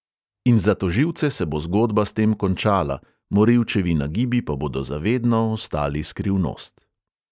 In za tožilce se bo zgodba s tem končala, morilčevi nagibi pa bodo za vedno ostali skrivnost.